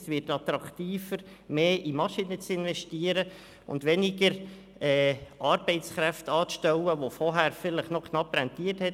Es wird attraktiver, mehr in Maschinen zu investieren und weniger Arbeitskräfte anzustellen, die vorher vielleicht noch knapp rentiert haben.